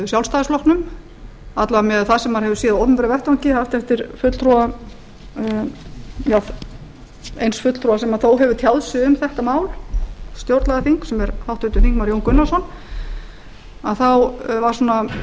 vega miðað við það sem maður hefur séð á opinberum vettvangi haft eftir einum fulltrúa sem þó hefur tjáð sig um þetta mál stjórnlagaþings sem er háttvirtur þingmaður jón gunnarsson þá var